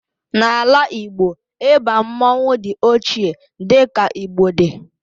n'ala Igbo, igba mmanwu di ochie di ka Igbo di